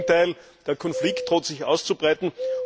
Im Gegenteil, der Konflikt droht sich auszuweiten.